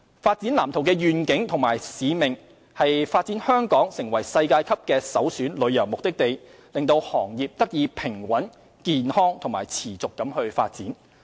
《發展藍圖》的願景和使命為發展香港成為世界級的首選旅遊目的地，讓行業得以平穩、健康及持續發展。